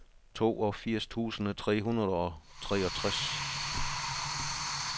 toogfirs tusind tre hundrede og treogtres